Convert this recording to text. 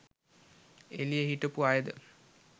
එළියේ හිටපු අයද